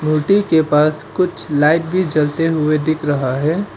रोटी के पास कुछ लाइट भी जलते हुए दिख रहा है।